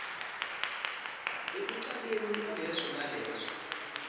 ekucaleni kwaleso naleso